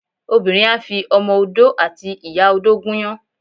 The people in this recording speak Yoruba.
Obinrin á fi Ọmọ Odó àti ìyá-odó gúnyán